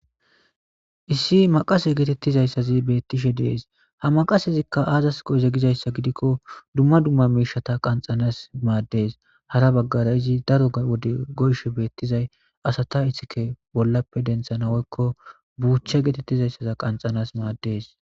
Issi maqase geetettizayssazi beettishe dees ha maqasezikka aazas goeze gizayssa gidikko dumma dumma miishata qanxanas maaddees hara baggara izi daro wode goyshe beettizay asata ithike bollappe denthanawoykko buuche geetettizayssaza qanxanas maaddees.